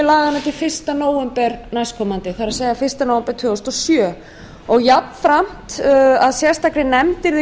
laganna til fyrsta nóvember tvö þúsund og sjö og jafnframt að sérstakri nefnd yrði